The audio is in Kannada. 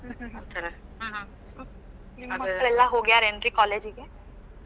ಹ್ಮ್ ಹ್ಮ್. ನಿಮ್ ಮಕ್ಳ ಎಲ್ಲಾ ಹೋಗ್ಯಾರೇನ್ರಿ college ಗೆ?